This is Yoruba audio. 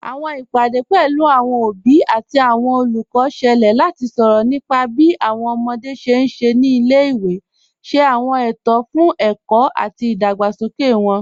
Awọn ìpadẹ̀ pẹ̀lú awọn obì àti awọn olùkọ́ ṣẹ̀lẹ̀ láti sọrọ̀ nípà bí awọn ọmọdé ṣé n ṣé ní ilẹ̀-ìwé, ṣé awọn ètò fún ẹ̀kọ̀ àti ìdágbàsókè wọn.